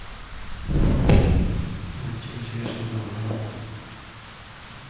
найти интересную мелодраму